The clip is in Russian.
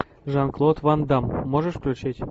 жан клод ван дамм можешь включить